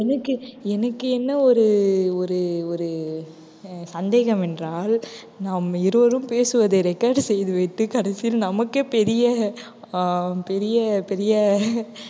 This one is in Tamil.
எனக்கு எனக்கு என்ன ஒரு ஒரு ஒரு அஹ் சந்தேகமென்றால் நாம் இருவரும் பேசுவதை record செய்து விட்டு கடைசியில் நமக்கே பெரிய ஆஹ் பெரிய பெரிய